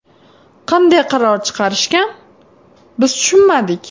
Qanday qaror chiqarishgan, biz tushunmadik.